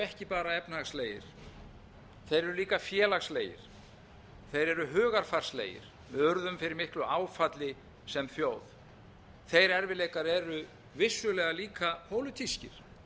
ekki bara efnahagslegir þeir eru líka félagslegir þeir eru hugarfarslegir við urðum fyrir miklu áfalli sem þjóð þeir erfiðleikar eru vissulega líka pólitískir